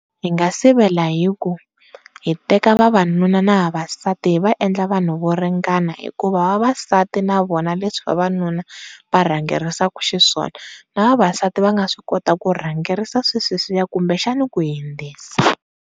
Hi nga sivela hi ku hi teka vavanuna na vavasati hi va endla vanhu vo ringana, hikuva vavasati na vona leswi vavanuna varhangerisa xiswona na vavasati va swi kota ku rhangerisa swa sweswiya kumbe xana ku hindzisa.